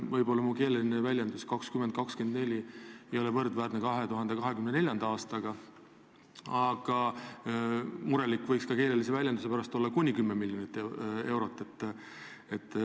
Võib-olla mu keeleline väljend "kakskümmend kakskümmend neli" ei tähenda tõesti üheselt 2024. aastat, aga muret võiks tekitada ka keeleline väljend "kuni 10 miljonit eurot".